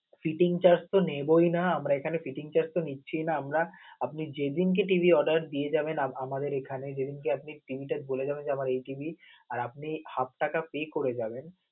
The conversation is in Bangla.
fitting search তো নেবই না, আমরা এখানে fitting search তো নিচ্ছিই না. আমরা আপনে যেদিন কে TV র order dদিয়ে যাবেন. আমাদের এখানে যেদিন কে আপনি TV টা বলে যাবেন, আমার এই TV আর আপনি হাফ টাকা pay করে যাবেন.